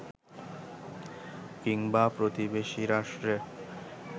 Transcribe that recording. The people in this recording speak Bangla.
কিংবা প্রতিবেশী রাষ্ট্রের